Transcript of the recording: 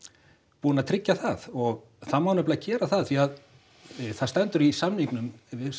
búin að tryggja það og það má nefnilega gera það af því að það stendur í samningnum